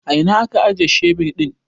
A ina ka ajiye shebir ɗin?